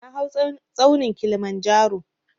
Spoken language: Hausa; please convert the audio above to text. Na hau tsaunin Kilimanjaro